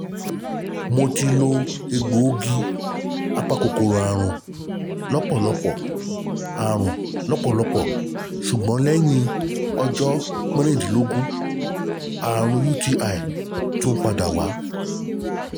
Mo ti lo egbòogi apakòkòrò àrùn lọ́pọ̀lọpọ̀ àrùn lọ́pọ̀lọpọ̀ ṣùgbọ́n lẹ́yìn ọjọ́ mẹ́ẹ̀ẹ́dógún àrùn UTI tún padà wá